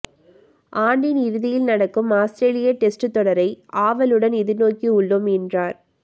ஆண்டின் இறுதியில் நடக்கும் ஆஸ்திரேலிய டெஸ்ட் தொடரை ஆவலுடன் எதிர்நோக்கி உள்ளோம் என்றார்